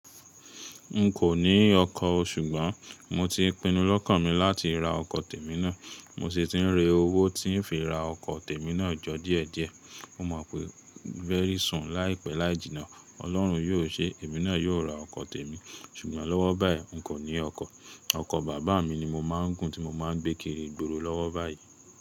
N kò ní ọkọ̀ o, ṣùgbọ́n mo ti pinu lọ́kàn mi láti ra ọkọ̀ tèmi náà. Mo sì ti ń re owó tí ń fi ra ọkọ̀ tèmi náà jọ díẹ̀ díẹ̀. Mo mọ̀ pé very soon láìpẹ́ láì jìnnà, Ọlọ́run yóò ṣé, èmi náà yóò ra ọkọ̀ tèmi. Ṣùgbọ́n lọ́wọ́ báyìí n kò ní ọkọ̀. Ọkọ̀ bàbá mi ni mo máa ń gùn tí mo máa ń gbekiri igbòrò lọ́wọ́ báyìí.